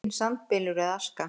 Enginn sandbylur eða aska.